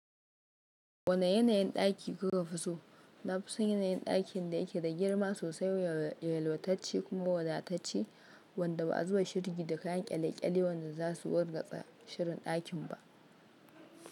Wane yanayin ɗaki kuka fi so? Na fi son yanayin ɗakin da yake da girma sosai, yalwatacce kuma wadatacce wanda ba a zuba shirgi da kayan kyale-kyale wanda za su wurgatsa shirin ɗakin ba.